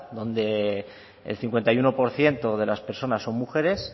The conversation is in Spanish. donde el cincuenta y uno por ciento de las personas son mujeres